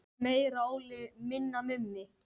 Meira Óli, minna Mummi!